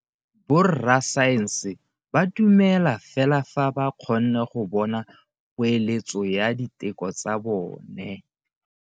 Borra saense ba dumela fela fa ba kgonne go bona poeletso ya diteko tsa bone.